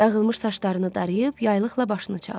Dağılmış saçlarını darayıb yaylıqla başını çaldı.